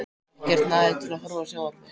Ekkert næði til að horfa á sjónvarpið.